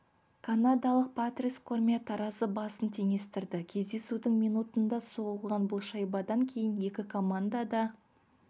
канадалық патрис кормье таразы басын теңестірді кездесудің минутында соғылған бұл шайбадан кейін екі команда да